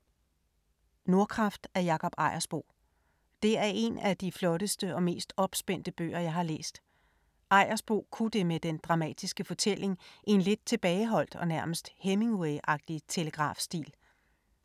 Nordkraft af Jakob Ejersbo. Det er en af de flotteste og mest opspændte bøger, jeg har læst. Ejersbo kunne det med den dramatiske fortælling i en lidt tilbageholdt og nærmest Hemingway-agtig telegrafstil.